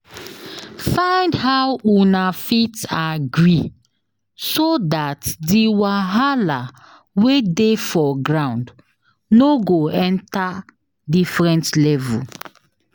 Find how una fit agree so dat di wahala wey dey for ground no go enter different level